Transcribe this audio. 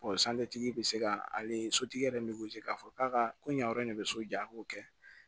tigi bɛ se ka ale sotigi yɛrɛ bɛ k'a fɔ k'a ka ko yan yɔrɔ in de bɛ so jɔ a k'o kɛ